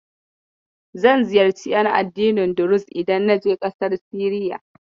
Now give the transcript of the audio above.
Zan ziyarci ƴan addinin Duruz idan na je ƙasar Siriya.